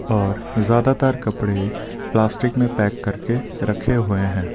और ज्यादातर कपड़े प्लास्टिक में पैक करके रखे हुए हैं।